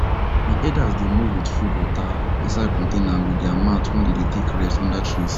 the herders dey move with food water inside containers and with their mat wen them dey take rest under trees